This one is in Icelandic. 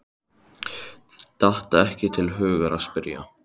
Datt ekki til hugar að spyrja.